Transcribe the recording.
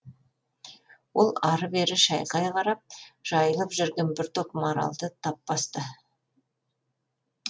ол ары бері шайқай қарап жайылып жүрген бір топ маралды тап басты